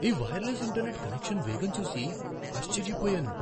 ఈ wireless internet connection వేగం చూసి ఆశ్చర్యపోయాను.